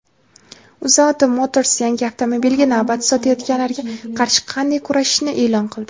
"UzAuto Motors" yangi avtomobilga navbat sotayotganlarga qarshi qanday kurashishini e’lon qildi.